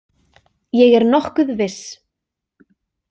Ég er nokkuð viss.